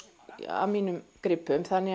af mínum gripum þannig að